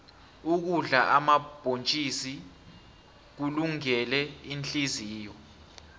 ukudla omabhontjisi kulungele ihliziyo